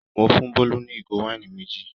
Mo fún Bólú ní ìgò wáìnì méjì.